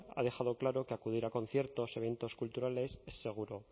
ha dejado claro que acudir a conciertos y eventos culturales es seguro